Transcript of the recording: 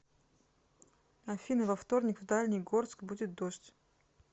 афина во вторник в дальний горск будет дождь